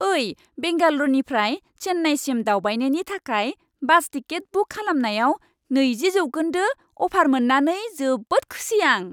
ओइ! बेंगाल'रनिफ्राय चेन्नाइसिम दावबायनायनि थाखाय बास टिकेट बुक खालामनायाव नैजि जौखोन्दो अफार मोन्नानै जोबोद खुसि आं।